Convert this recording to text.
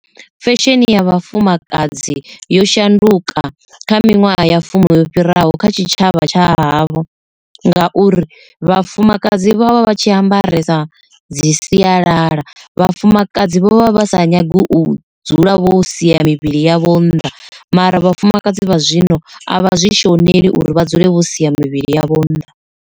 Fesheni ya vhafumakadzi yo shanduka kha minwaha ya fumi yo fhiraho kha tshitshavha tsha havho ngauri vhafumakadzi vha vha vha vha tshi ambaresa dzi sialala, vhafumakadzi vho vha vha sa nyagi u dzula vho sia mivhili yavho nnḓa mara vhafumakadzi vha zwino avha zwi shoneḽi uri vha dzule vho sia mivhili yavho nnḓa.